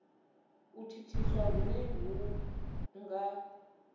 u thithiswa hune hu nga